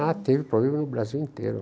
Ah, tem problema no Brasil inteiro.